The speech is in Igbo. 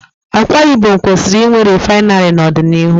Akwa Ibom kwesịrị inwe rịfinarị n'ọdịnihu.